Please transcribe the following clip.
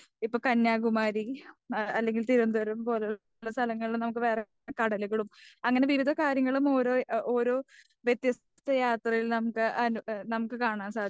ഇപ്പോ കന്യാകുമാരി അല്ലങ്കിൽ തിരുപനന്തപുരം പോലുള്ള സ്ഥലങ്ങളിൽ നമുക്ക് വേറെ കടലുകളും അങ്ങനെ വിവിധ കാര്യങ്ങളും ഓരോ ഓരോ വെത്യസ്ഥ യാത്രകളിൽ ന്താ നമുക്ക് കാണാൻ സാദിക്കും.